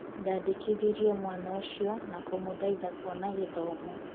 Ndandikithirie mwana ucio na kumutaithia kuona githomo.